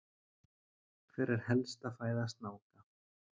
hver er helsta fæða snáka